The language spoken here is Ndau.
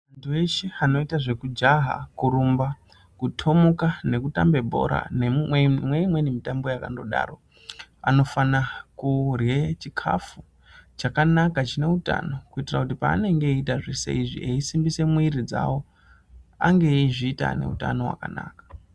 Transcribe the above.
Antu eshe anoite zvekujaha , kurumba kutomuka nekutambe bhora neimweni mitambo yakandodaro anofana kurye chikafu chakanaka chine utano kuitira kuti paanenge eitazveshe izvi eisimbise mwiri dzawo ange eizviita nehutano hwakanaka.